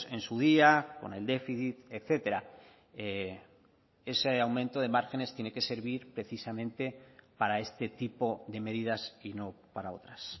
en su día con el déficit etcétera ese aumento de márgenes tiene que servir precisamente para este tipo de medidas y no para otras